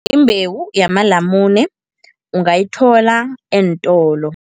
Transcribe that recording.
Imbewu yamalamune ungayithola eentolo.